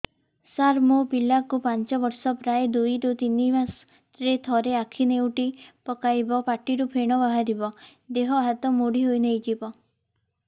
ସାର ମୋ ପିଲା କୁ ପାଞ୍ଚ ବର୍ଷ ପ୍ରାୟ ଦୁଇରୁ ତିନି ମାସ ରେ ଥରେ ଆଖି ନେଉଟି ପକାଇବ ପାଟିରୁ ଫେଣ ବାହାରିବ ଦେହ ହାତ ମୋଡି ନେଇଯିବ